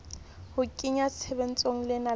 ho kenya tshebetsong leano la